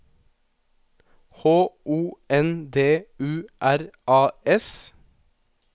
H O N D U R A S